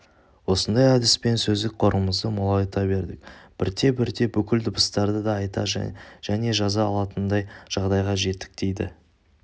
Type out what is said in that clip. осындай әдіспен сөздік қорымызды молайта бердік бірте-бірте бүкіл дыбыстарды айта және жаза алатындай жағдайға жеттік дейді